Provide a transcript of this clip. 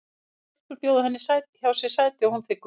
Tvær stelpur bjóða henni sæti hjá sér og hún þiggur það.